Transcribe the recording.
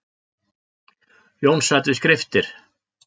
Jón sat við skriftir.